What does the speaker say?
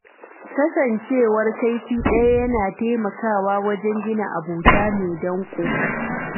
Kasancewa kaifi ɗaya yana taimakawa wajen gina abota mai danƙo.